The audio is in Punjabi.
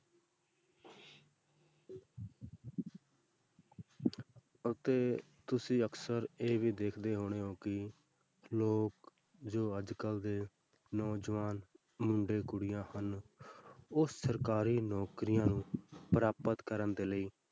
ਅਤੇ ਤੁਸੀਂ ਅਕਸਰ ਇਹ ਵੀ ਦੇਖਦੇ ਹੋਣੇ ਹੋ ਕਿ ਲੋਕ ਜੋ ਅੱਜ ਕੱਲ੍ਹ ਦੇ ਨੌਜਵਾਨ ਮੁੰਡੇ ਕੁੜੀਆਂ ਨੇ ਉਹ ਸਰਕਾਰੀ ਨੌਕਰੀਆਂ ਨੂੰ ਪ੍ਰਾਪਤ ਕਰਨ ਦੇ ਲਈ,